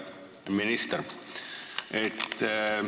Hea minister!